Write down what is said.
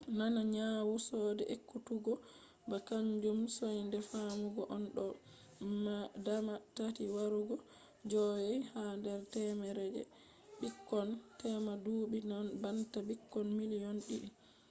nana nyawu soinde ekkutuggo ba kaanjum soinde fammugo on; ɗo dama tati warugo joowey ha nder temere je ɓikkon tema duɓɓi banta ɓikkon miliyon ɗiɗi